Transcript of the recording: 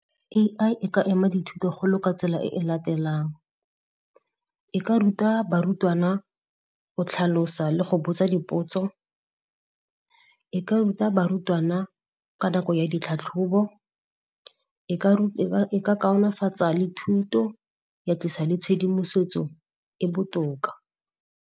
A_I e ka ema dithuto go lo ka tsela e e latelang, e ka ruta barutwana go tlhalosa le go botsa dipotso, e ka ruta barutwana ka nako ya ditlhatlhobo, e ka le thuto, ya tlisa le tshedimosetso e botoka.